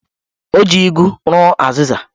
O ji igu rụọ azịza